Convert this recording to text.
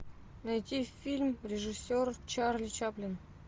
найти фильм режиссер чарли чаплин